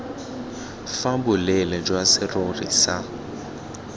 fa boleele jwa serori sa